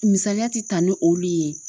Misaliya ti ta ni olu ye.